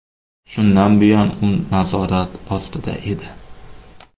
Shundan buyon u nazorat ostida edi.